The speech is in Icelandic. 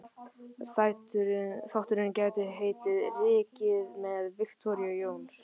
Þátturinn gæti heitið: Rykkið með Viktoríu Jóns.